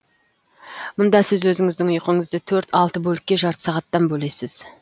мұнда сіз өзіңіздің ұйқыңызды төрт алты бөлікке жарты сағаттан бөлесіз